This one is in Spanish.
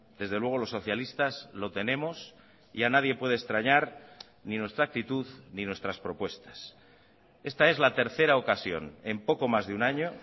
desde luego los socialistas lo tenemos y a nadie puede extrañar ni nuestra actitud ni nuestras propuestas esta es la tercera ocasión en poco más de un año